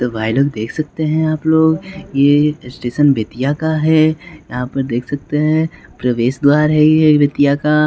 तो भाई लोग देख सकते हैं आप लोग ये स्टेशन बेतिया का है यहां पर देख सकते हैं प्रवेश द्वार है ये बेतिया का--